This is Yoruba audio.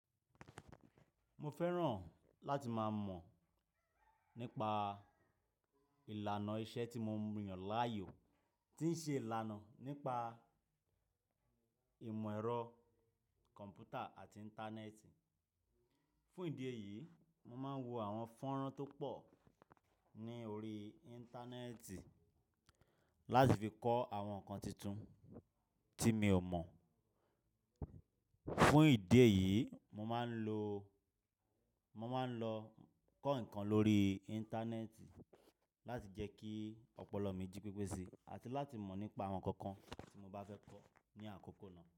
Mo fẹ́ràn láti máa mọ̀ nípa ìlànà iṣẹ́ tí mo ń rí ọ̀ láàyò tí ń ṣe ìlànà nípa ìmọ̀ ẹ̀rọ kọ̀m̀pútà àti Íńtánẹ́ẹ̀tì. Fún ìdí èyí, mo máa ń wo àwọn fọ́nrán tó pọ̀ ní orí Íńtánẹ́ẹ̀tì láti fi kọ́ àwọn nǹkan titun tí mi ò mọ̀. Fún ìdí èyí, mo máa ń lọ, mo máa ń lọ kọ́ nǹkan lórí Íńtánẹ́ẹ̀tì láti jẹ́ kí ọpọlọ mi jí pípésè àti láti mọ̀ nípa àwọn nǹkan kan tí mo bá fẹ́ kọ́ ní àkókò náà.